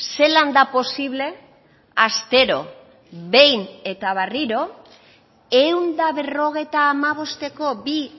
zelan da posible astero behin eta berriro ehun eta berrogeita hamabosteko bi